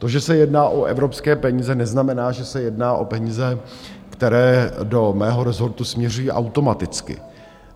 To, že se jedná o evropské peníze, neznamená, že se jedná o peníze, které do mého rezortu směřují automaticky.